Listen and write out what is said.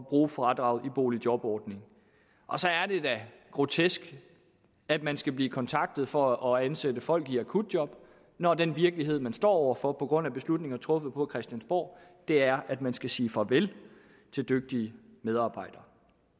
bruge fradraget i boligjobordningen og så er det da grotesk at man skal blive kontaktet for at ansætte folk i akutjob når den virkelighed man står over for på grund af beslutninger truffet på christiansborg er at man skal sige farvel til dygtige medarbejdere